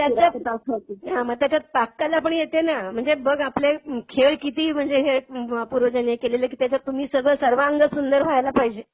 तर त्याच्यात. हां मग त्याच्यात पाककला पण येते ना? म्हणजे बघ आपले खेळ किती म्हणजे हे आहेत पूर्वजांनी हे केलेल की त्याच्यात तुम्ही सर्वांग सुंदर व्हायला पाहिजे.